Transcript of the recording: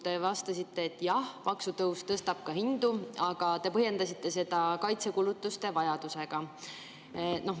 Te vastasite, et jah, maksutõus tõstab hindu, aga te põhjendasite seda kaitsekulutuste vajadusega.